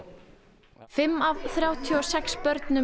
fimm af þrjátíu og sex börnum